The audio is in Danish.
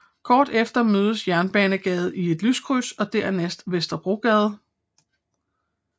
Kort efter mødes Jernbanegade i et lyskryds og dernæst Vesterbrogade